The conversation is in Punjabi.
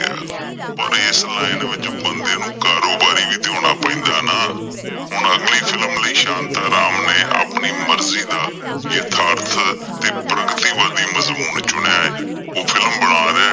ਪਰ ਇਸ line ਵਿੱਚ ਬੰਦੇ ਨੂੰ ਕਾਰੋਬਾਰੀ ਵੀ ਤਾਂ ਹੋਣਾ ਪੈਦਾਂ ਨਾ, ਹੁਣ ਅਗਲੀ film ਲਈ ਸ਼ਾਂਤਾਂ ਰਾਮ ਨੇ ਅਪਣੀ ਮਰਜ਼ੀ ਦਾ ਯਦਾਰਥ ਤੇ ਪ੍ਰਗਤੀਵਾਦੀ ਮਜ਼ਬੂਨ ਚੁਣਿਆਂ ਏ, ਉਹ film ਬਣਾ ਰਿਹਾ